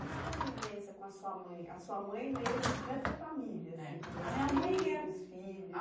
Na convivência com a sua mãe, a sua mãe nesse nessa família, eh assim, a minha mãe é com vocês, com os filhos?